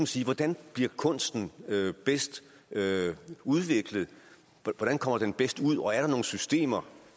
sige hvordan bliver kunsten bedst udviklet hvordan kommer den bedst ud og er der nogle systemer